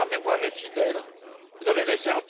Si ma mémoire est fidèle, vous avez laissé